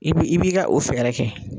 I b'i b'i ka o fɛɛrɛ kɛ.